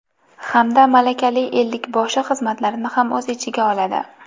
Hamda malakalik ellik boshi xizmatlarini ham o‘z ichiga oladi.